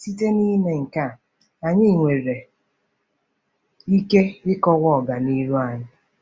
Site n'ime nke a, anyị nwere ike ịkọwa ọganihu anyị.